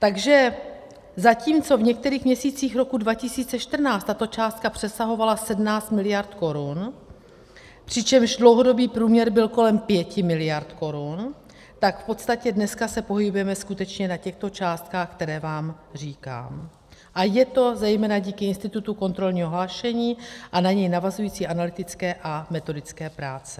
Takže zatímco v některých měsících roku 2014 tato částka přesahovala 17 miliard korun, přičemž dlouhodobý průměr byl kolem 5 miliard korun, tak v podstatě dneska se pohybujeme skutečně na těchto částkách, které vám říkám, a je to zejména díky institutu kontrolního hlášení a na něj navazující analytické a metodické práci.